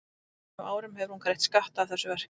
En á þeim árum hefur hún greitt skatta af þessu verki.